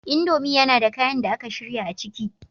Indomie yana da kayan da aka shirya a ciki